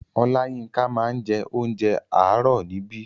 Oláyínká máa ń jẹ onjẹ àárò níbí.